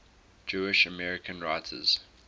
jewish american writers